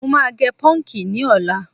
Mo máa gẹ pọ́ǹkì ní ọ̀la.